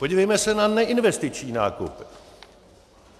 Podívejme se na neinvestiční nákupy.